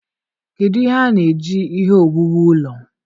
kedụ ihe a na-eji ihe owuwu ụlọ?